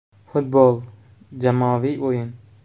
Futbol - jamoaviy o‘yin.